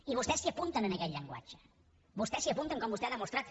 i vostès s’hi apunten a aquest llenguatge vostès s’hi apunten com vostè ha demostrat